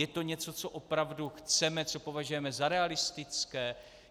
Je to něco, co opravdu chceme, co považujeme za realistické?